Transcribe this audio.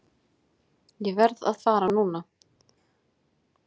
Ég verð að fara núna!